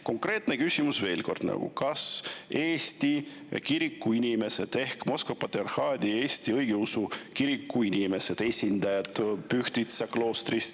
Konkreetne küsimus veel kord: kas Eesti kiriku inimesed ehk Moskva Patriarhaadi Eesti Õigeusu Kiriku inimeste esindajad Pühtitsa kloostrist …